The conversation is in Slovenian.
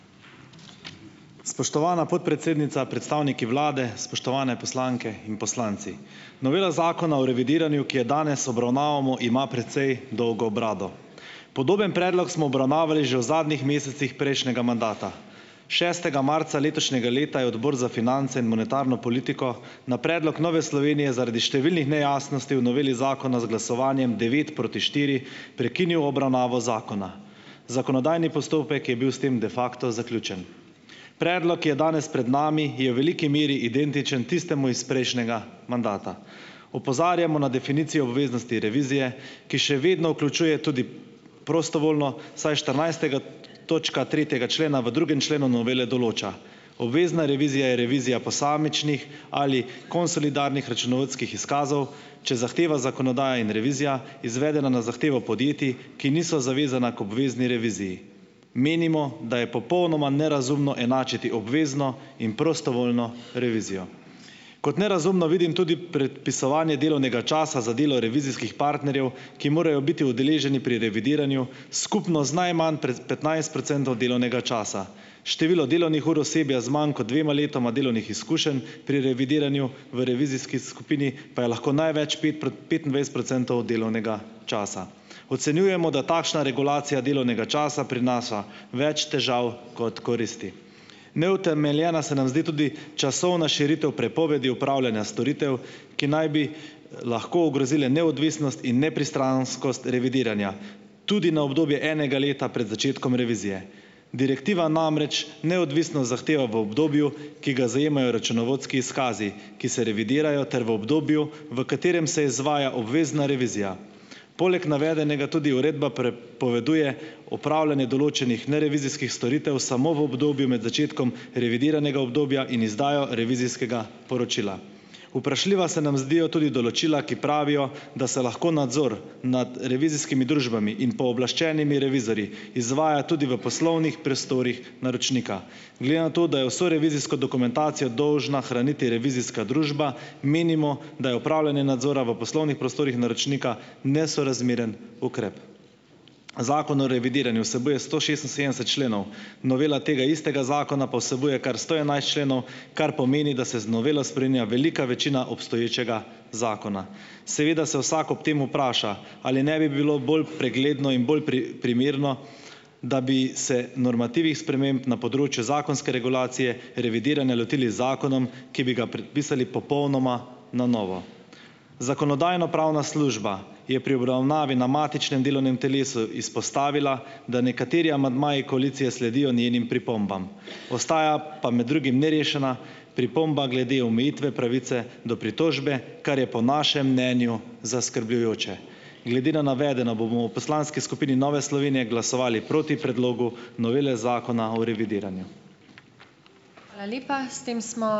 Spoštovana podpredsednica, predstavniki vlade, spoštovane poslanke in poslanci! Novela zakona o revidiranju, ki jo danes obravnavamo, imamo precej dolgo brado. Podoben predlog smo obravnavali že v zadnjih mesecih prejšnjega mandata, šestega marca letošnjega leta je Odbor za finance in monetarno politiko na predlog Nove Slovenije zaradi številnih nejasnosti v noveli zakona z glasovanjem devet proti štiri prekinil obravnavo zakona. Zakonodajni postopek je bil s tem de facto zaključen. Predlog, ki je danes pred nami, je v veliki meri identičen tistemu iz prejšnjega mandata. Opozarjamo na definicijo o obveznosti revizije, ki še vedno vključuje tudi prostovoljno, vsaj štirinajsta točka tri tega člena v drugem členu novele določa - obvezna revizija je revizija posamičnih ali konsolidiranih računovodskih izkazov, če zahteva zakonodaja in revizija, izvedena na zahtevo podjetij, ki niso zavezana k obvezni reviziji. Menimo, da je popolnoma nerazumno enačiti obvezno in prostovoljno revizijo. Kot nerazumno vidim tudi predpisovanje delovnega časa za delo revizijskih partnerjev, ki morajo biti udeleženi pri revidiranju, skupno z najmanj pred petnajst procentov delovnega časa. Število delovnih ur osebja z manj kot dvema letoma delovnih izkušenj pri revidiranju v revizijski skupini pa je lahko največ pet petindvajset procentov od delovnega časa. Ocenjujemo, da takšna regulacija delovnega časa prinaša več težav kot koristi. Neutemeljena se nam zdi tudi časovna širitev prepovedi opravljanja storitev, ki naj bi lahko ogrozile neodvisnost in nepristranskost revidiranja, tudi na obdobje enega leta pred začetkom revizije. Direktiva namreč neodvisno zahteva v obdobju, ki ga zajemajo računovodski izkazi, ki se revidirajo ter v obdobju, v katerem se izvaja obvezna revizija. Poleg navedenega tudi uredba pre- poveduje opravljanje določenih nerevizijskih storitev samo v obdobju med začetkom revidiranega obdobja in izdajo revizijskega poročila. Vprašljiva se nam zdijo tudi določila, ki pravijo, da se lahko nadzor nad revizijskimi družbami in pooblaščenimi revizorji izvaja tudi v poslovnih prostorih naročnika. Glede na to, da je vso revizijsko dokumentacijo dolžna hraniti revizijska družba, menimo, da je opravljanje nadzora v poslovnih prostorih naročnika nesorazmeren ukrep. Zakon o revidiranju vsebuje sto šestinsedemdeset členov, novela tega istega zakona pa vsebuje kar sto enajst členov, kar pomeni, da se z novelo spreminja velika večina obstoječega zakona. Seveda se vsak ob tem vpraša, ali ne bi bilo bolj pregledno in bolj pri primerno, da bi se normativi sprememb na področju zakonske regulacije revidiranja lotili z zakonom, ki bi ga predpisali popolnoma na novo? Zakonodajno-pravna služba je pri obravnavi na matičnem delovnem telesu izpostavila, da nekateri amandmaji koalicije sledijo njenim pripombam, ostaja pa, med drugim, nerešena pripomba glede omejitve pravice do pritožbe, kar je po našem mnenju zaskrbljujoče. Glede na navedeno bomo v poslanski skupini Nove Slovenije glasovali proti predlogu novele Zakona o revidiranju.